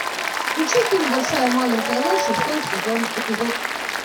включи фильм большая маленькая ложь шестой сезон эпизод